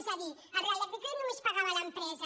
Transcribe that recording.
és a dir el reial decret només pagava a l’empresa